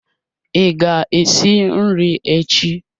Ị ga-esi nri echi?